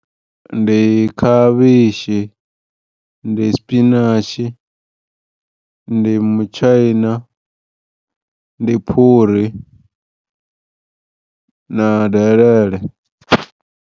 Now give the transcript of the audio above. Ndi khavhishi ndi sipinatshi ndi mutshaina ndi phuri na delele.